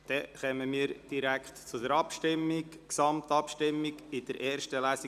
Somit kommen wir zur Gesamtabstimmung über das PG nach der ersten Lesung.